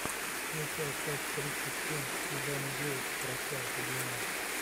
включай часть тридцать семь сезона девять прощай любимая